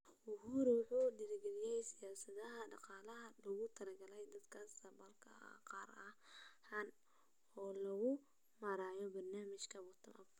Ruto waxa uu dhiiri galiyay siyaasadaha dhaqaalaha ee loogu talagalay dadka saboolka ah, gaar ahaan iyada oo loo marayo barnaamijka "Bottom-Up".